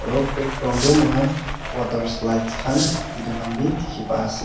aro background tae moikhan waterslides khan edu khan bi dikhipa--